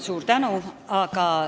Suur tänu!